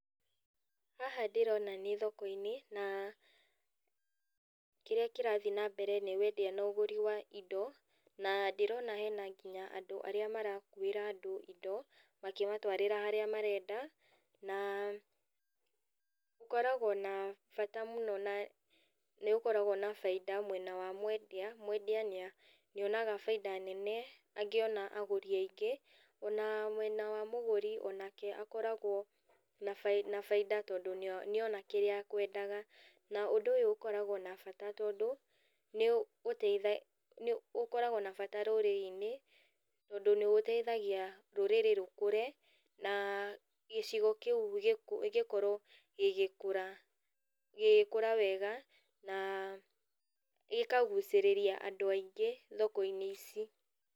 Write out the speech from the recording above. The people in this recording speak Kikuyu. Haha ndĩrona nĩ thokoinĩ, na kĩrĩa kĩrathiiĩ nambere nĩ wendĩa na ũgũri wa indo, na ndĩrona hena nginya andũ arĩa marakuĩra andũ indo, makĩmatwarĩra harĩa marenda, na koragwo na bata mũno ta tondũ nĩũkoragwo na bainda mwena wa mwendia, mwendia nĩonaga bainda nene, angĩona agũri aingĩ, ona mwena wa mũgũri, onake akoragwo na bainda todũ nĩ nĩona kĩrĩa akwendaga. Na ũndũ ũyũ ũkoragwo na bata tondũ, nĩ ũgũteitha nĩũkoragwo na bata rũrĩrĩinĩ, tondũ nĩ ũteithagia rũrĩrĩ rũkũre, na gĩcigo kĩũ gĩkorwo gĩgĩkũra, gĩgĩkũra wega, na gĩkagucĩrĩria andũ aingĩ thokoinĩ ici.